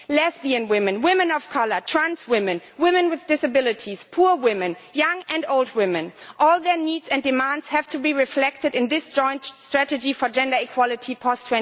Lesbian women, women of colour, trans women, women with disabilities, poor women, young and old women all must have their needs and demands reflected in this joint strategy for gender equality post